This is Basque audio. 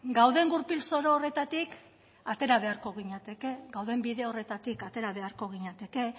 gauden gurpil zoro horretatik atera beharko ginateke gauden bide horretatik atera beharko ginateke